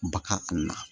Ba ka